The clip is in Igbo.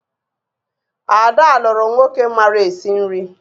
Ada lụrụ nwoke mara esi nri